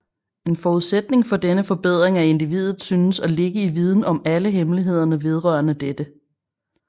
En forudsætning for denne forbedring af individet synes at ligge i viden om alle hemmelighederne vedrørende dette